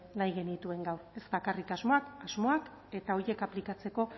nahi genituen gaur ez bakarrik asmoak asmoak eta horiek aplikatzeko